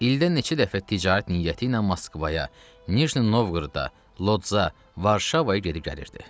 İldə neçə dəfə ticarət niyyəti ilə Moskvaya, Nijni Novqorodda, Lodza, Varşavaya gedib gəlirdi.